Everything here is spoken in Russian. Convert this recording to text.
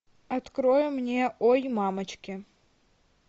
открой мне ой мамочки